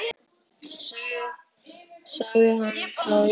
Sagði hann það já.